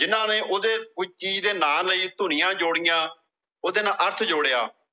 ਜਿਨ੍ਹਾਂ ਨੇ ਉਹਦੇ, ਕੋਈ ਚੀਜ਼ ਦੇ ਨਾਂ ਲਏ, ਧੁਨੀਆਂ ਜੋੜੀਆਂ, ਉਹਦੇ ਨਾਲ ਅਰਥ ਜੋੜਿਆ।